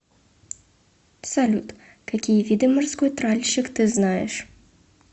салют какие виды морской тральщик ты знаешь